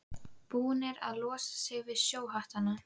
Búnir að losa sig við sjóhattana.